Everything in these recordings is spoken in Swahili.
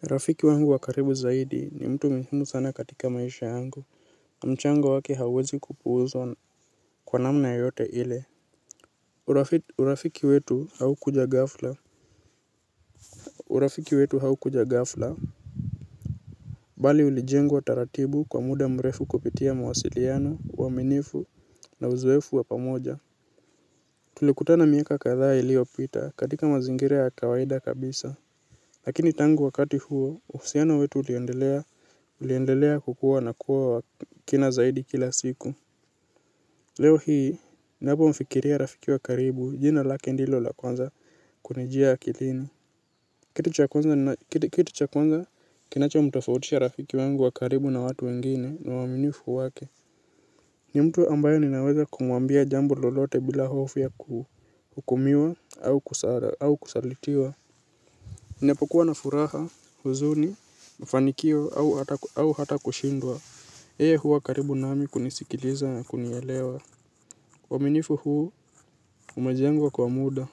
Rafiki wangu wa karibu zaidi ni mtu muhimu sana katika maisha yangu. Mchango wake hauwezi kupuuzwa kwa namna yote ile urafiki urafiki wetu haukuja ghafla. Urafiki wetu haukuja gafla. Bali ulijengwa taratibu kwa muda mrefu kupitia mawasiliano, uaminifu na uzoefu wa pamoja. Tulikutana miaka kadhaa iliyopita katika mazingira ya kawaida kabisa. Lakini tangu wakati huo, uhusiano wetu uliendelea kukua na kuwa wa kina zaidi kila siku. Leo hii, napomfikiria rafiki wa karibu, jina lake ndilo la kwanza kunijia akilini kitu cha kwanza kitu cha kwanza kinachomtofautisha rafiki wangu wa karibu na watu wengine, ni uaminifu wake. Ni mtu ambaye ninaweza kumwambia jambo lolote bila hofu ya kuhukumiwa au kusala au kusalitiwa ninapokuwa na furaha, huzuni, mafanikio au hata kushindwa yeye huwa karibu nami kunisikiliza na kunielewa uaminifu huu umejengwa kwa muda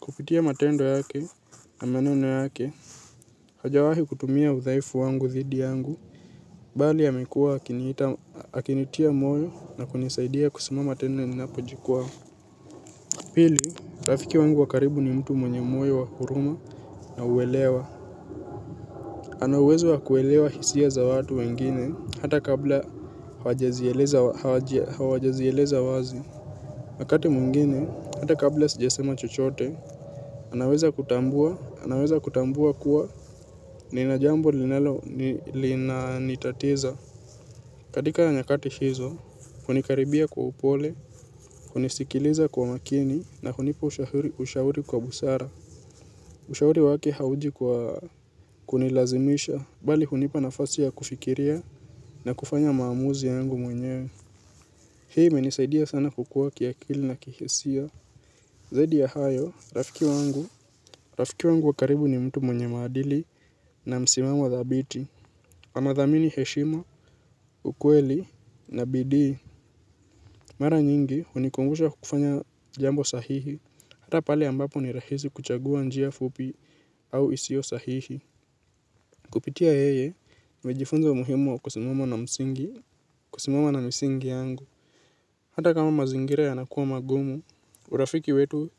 kupitia matendo yake na meneno yake. Hajawahi kutumia udhaifu wangu dhidi yangu bali amekuwa akiniita akinitia moyo na kunisaidia kusimama tena ninapojikwaa pili, rafiki wangu wa karibu ni mtu mwenye moyo wa huruma na uwelewa ana uwezo wa kuelewa hisia za wengine hata kabla hawajazieleza hawajazieleza wazi wakati mwingine hata kabla sijasema chochote, anaweza kutambua anaweza kutambua kuwa nina jambo linalo linanitatiza. Katika nyakati hizo, hunikaribia kwa upole, hunisikiliza kwa makini na hunipa ushahuri ushauri kwa busara. Ushauri wake hauji kwa kunilazimisha bali hunipa nafasi ya kufikiria na kufanya maamuzi yangu mwenye hii imenisaidia sana kukua kiakili na kihisia zaidi ya hayo, rafiki wangu rafiki wangu wa karibu ni mtu mwenye maadili na msimamo thabiti anathamini heshima, ukweli na bidii mara nyingi hunikumbusha kukufanya jambo sahihi hata pale ambapo ni rahisi kuchagua njia fupi au isio sahihi kupitia yeye, nimejifunza muhimu kusimama na msingi, kusimama na misingi yangu. Hata kama mazingira yanakuwa magumu urafiki wetu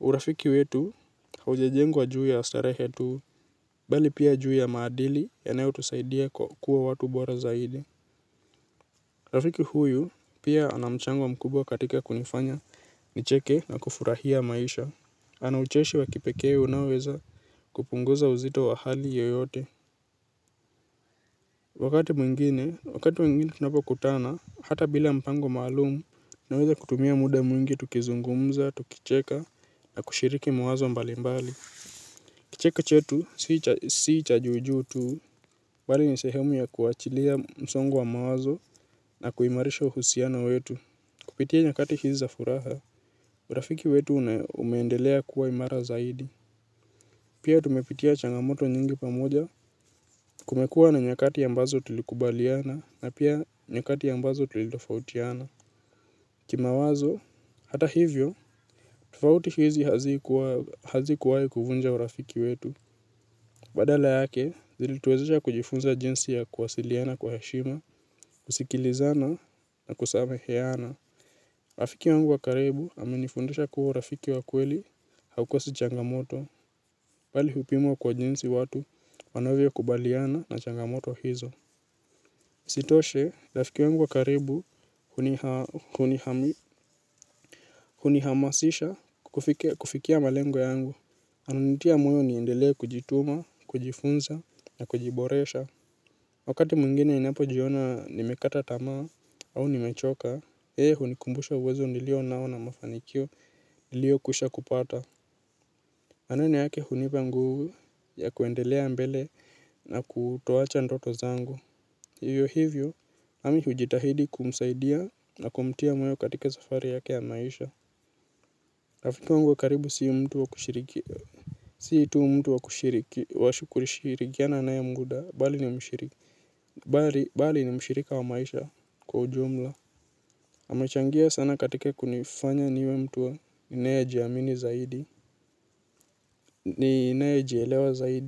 urafiki wetu haujajengwa juu ya starehe tuh bali pia juu ya maadili yanayotusaidia kuwa watu bora zaidi rafiki huyu, pia ana mchango mkubwa katika kunifanya, nicheke na kufurahia maisha. Ana ucheshi wa kipekee unaoweza kupunguza uzito wa hali yoyote. Wakati mwingine, wakati mwingine tunapokutana, hata bila mpango maalumu, naweza kutumia muda mwingi tukizungumza, tukicheka, na kushiriki mawazo mbalimbali. Kicheka chetu, sii cha juujuu tu, bali ni sehemu ya kuachilia msongo wa mawazo na kuimarisha uhusiano wetu. Kupitia nyakati hizi za furaha, urafiki wetu na umeendelea kuwa imara zaidi. Pia tumepitia changamoto nyingi pamoja kumekua na nyakati ambazo tulikubaliana na pia nyakati ambazo tulitofautiana. Kimawazo, hata hivyo, tofauti hizi hazikuwa hazikuwai kuvunja urafiki wetu. Badala yake, zilituwezesha kujifunza jinsi ya kuwasiliana kwa heshima, usikilizano na kusameheana. Rafiki wangu wa karibu amenifundisha kuwa urafiki wa kweli haukosi changamoto, bali hupimwa kwa jinsi watu wanavyokubaliana na changamoto hizo. Sitoshe, rafiki wangu wa karibu hunihamasisha kufikia malengo yangu. Ananitia moyo niendelee kujituma, kujifunza, na kujiboresha. Wakati mwingine ninapojiona nimekata tamaa au nimechoka, yeye hunikumbusha uwezo nilio nao na mafanikio niliokusha kupata. Amani yake hunipa nguvu ya kuendelea mbele na kutoacha ndoto zangu. Hivyo hivyo, nami hujitahidi kumsaidia na kumtia moyo katika safari yake ya maisha. Rafiki wangu wa karibu si mtu wa kushiriki si tu mtu wa kushiriki washi kurishirikiana na ya muda bali ni mshiriki bali ni mshirika wa maisha kwa ujumla amechangia sana katika kunifanya niwe mtu ninayejiamini zaidi ninayejielewa zaidi.